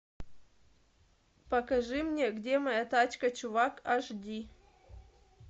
покажи мне где моя тачка чувак аш ди